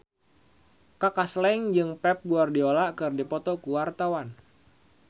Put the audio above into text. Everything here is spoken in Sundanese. Kaka Slank jeung Pep Guardiola keur dipoto ku wartawan